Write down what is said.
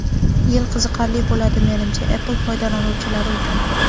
Yil qiziqarli bo‘ladi menimcha Apple foydalanuvchilari uchun.